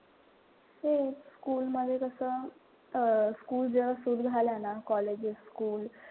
हो school मध्ये कसं अं school जेव्हा सुरु झाल्या ना colleges school,